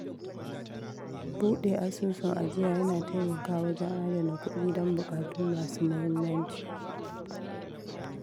Buɗe asusun ajiya yana taimakawa wajen adana kudi don bukatu masu muhimmanci.